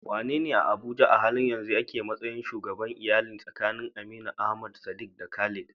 Wanene a Abuja a halin yanzu yake a matsayin shugaban iyali tsakanin Aminu, Ahmad, Sadiq, da Khalid?